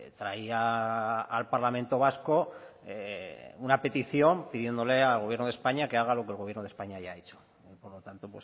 traía al parlamento vasco una petición pidiéndole al gobierno de españa que haga lo que el gobierno de españa ya ha hecho por lo tanto